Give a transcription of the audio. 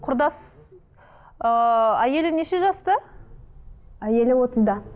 құрдас ыыы әйелі неше жаста әйелі отызда